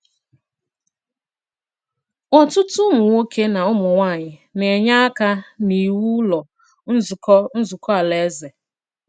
Ọ̀tùtù ùmụ̀nwòkè na ùmụ̀nwàànyị na-enyè àka n’ìwù Ụ̀lọ́ Nzukọ́ Nzukọ́ Alàèzè.